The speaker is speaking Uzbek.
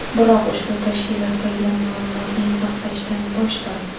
Biroq ushbu tashkilotdagilar ma’lumotni izohlashdan bosh tortdi.